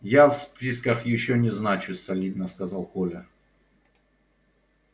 я в списках ещё не значусь солидно сказал коля